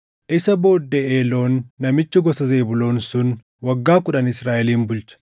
Isa booddee Eeloon namichi gosa Zebuuloon sun waggaa kudhan Israaʼelin bulche.